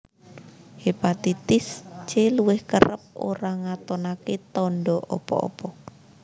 Hépatitis C Luwih kerep ora ngatonaké tanda apa apa